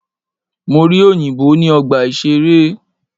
Mo rí òyìnbó ní ọgbà ìṣeré.